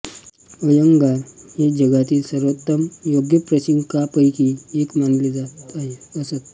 अय्यंगार हे जगातील सर्वोत्तम योग प्रशिक्षकांपैकी एक मानले जात असत